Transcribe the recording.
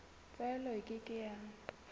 tlwaelo e ke ke ya